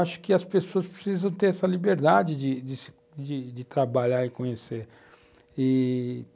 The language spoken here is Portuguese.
Acho que as pessoas precisam ter essa liberdade de de se trabalhar e conhecer.